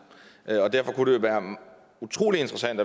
derfor kunne det være utrolig interessant